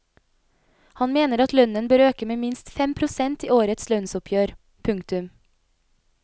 Han mener at lønnen bør øke med minst fem prosent i årets lønnsoppgjør. punktum